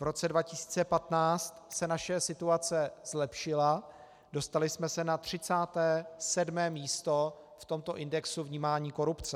V roce 2015 se naše situace zlepšila, dostali jsme se na 37. místo v tomto indexu vnímání korupce.